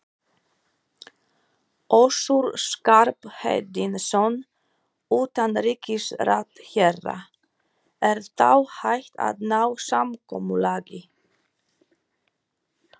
Össur Skarphéðinsson, utanríkisráðherra: Er þá hægt að ná samkomulagi?